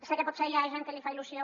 sé que potser hi ha gent que li fa il·lusió